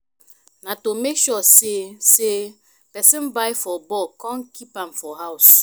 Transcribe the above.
na to make sure say say persin buy for bulk kon kip am for house